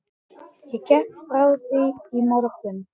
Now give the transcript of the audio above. Ég gekk frá því í morgun.